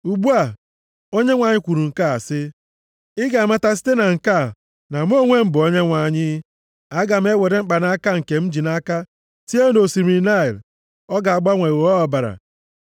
Ugbu a Onyenwe anyị kwuru nke a sị, ‘Ị ga-amata site na nke a na mụ onwe m bụ Onyenwe anyị. Aga m ewere mkpanaka a nke m ji nʼaka tie nʼosimiri Naịl. Ọ ga-agbanwe ghọọ ọbara.